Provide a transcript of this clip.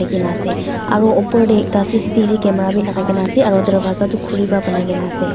likhina ase aro opor tae ekta C_C_T_V camera bi lakai kaena ase aro dorvaza tu khuri pa banaikaena ase.